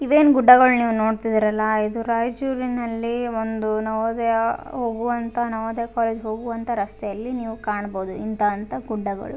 ಇವೇನ್ ಗುಡ್ಡಗಳನ್ ನೀವ್ ನೋಡ್ತಿದ್ದೀರಲ್ಲಾ ಇದು ರಯ್ಚೂರಿನಲ್ಲಿ ಒಂದು ನವೋದಯ ಹೋಗುವಂತ ನವೋದಯ ಕಾಲೇಜ್ ಹೋಗುವಂತ ರಸ್ತೆಯಲ್ಲಿ ನೀವು ಕಾಣ್ಬೋದು ಇಂತ ಅಂತ ಗುಡ್ಡಗಳು .